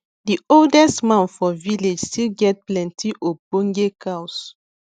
the oldest man for village still get plenti ogboge cows